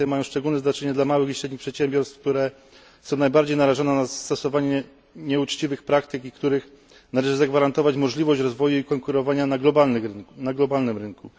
Kwestie te mają szczególne znaczenie dla małych i średnich przedsiębiorstw, które są najbardziej narażone na zastosowanie nieuczciwych praktyk i którym należy zagwarantować możliwość rozwoju i konkurowania na globalnym rynku.